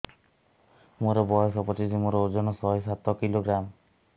ମୋର ବୟସ ପଚିଶି ମୋର ଓଜନ ଶହେ ସାତ କିଲୋଗ୍ରାମ